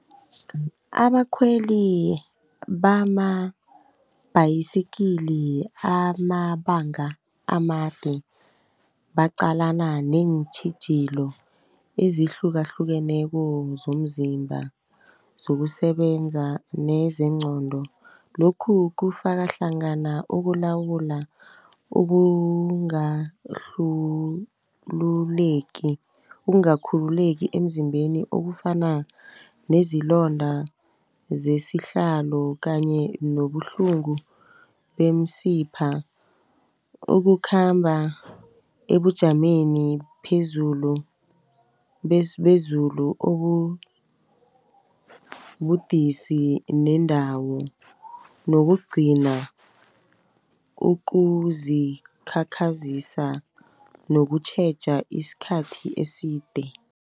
Abakhweli bamabhayisikili amabanga amade, baqalana neentjhijilo ezihlukahlukeneko zomzimba, zokusebenza nezingqondo lokhu, kufaka hlangana ukulawula ukungakhululeki emzimbeni. Okufana nezilonda zesihlalo kanye nobuhlungu bemsipha, ukukhamba ebujameni bezulu , ubudisi nendawo nokugcina ukuzikhakhazisa nokutjheja iskhathi eside.